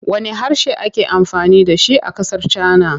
Wanne harshe ake amfani da shi a ƙasar Cana.